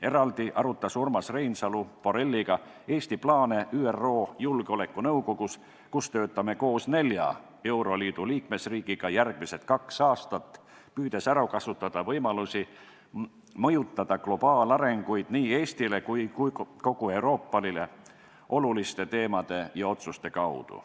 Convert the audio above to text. Eraldi arutas Urmas Reinsalu Borrelliga Eesti plaane ÜRO Julgeolekunõukogus, kus töötame koos nelja euroliidu liikmesriigiga järgmised kaks aastat, püüdes ära kasutada võimalusi mõjutada globaalarengut nii Eestile kui ka kogu Euroopale oluliste teemade ja otsuste kaudu.